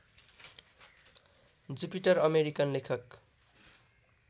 Jupiter American लेखक